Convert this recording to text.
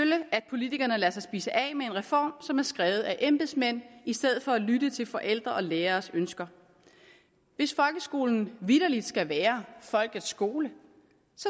at politikerne lader sig spise af med en reform som er skrevet af embedsmænd i stedet for at lytte til forældres og læreres ønsker hvis folkeskolen vitterlig skal være folkets skole